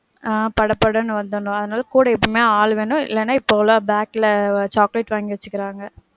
ஆஹ் பட படன்னு வந்தர்னும், அதனால கூட எப்பயுமே ஆள் வேணும், இல்லனா இப்போலாம் bag ல chocolate வாங்கி வச்சிர்காங்க.